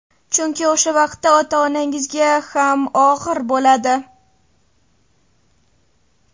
Chunki o‘sha vaqtda ota-onangizga ham og‘ir bo‘ladi.